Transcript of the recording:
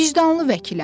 Vicdanlı vəkiləm.